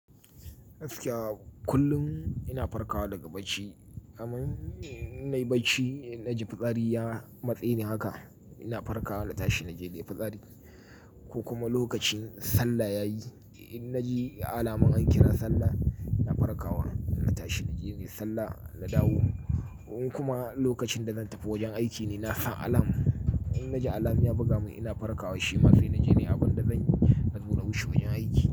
Gaskiya kullum ina farkawa daga bacci, amun in na yi bacci ina ji fitsari ya matse ni haka ina farkawa na tashi na je na yi fitsari ko kuma lokacin sallah ya yi in na ji alamun an ƙira sallah ina farkawa na tashi na je na yi sallah na dawo. Kuma lokacin da zan tafi wajen aiki ina sa alam, in na ji alam iya buga mun ina farkawa shi ma sai na je na yi abin da zanyi na tona bishi wajen aiki.